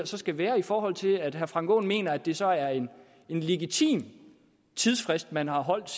så skal være i forhold til at herre frank aaen mener at det så er en legitim tidsfrist man har holdt